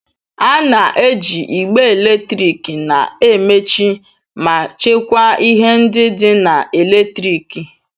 A na-eji igbe eletrik na-emechi ma chekwaa ihe ndị dị na eletriki.